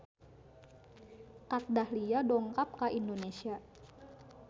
Kat Dahlia dongkap ka Indonesia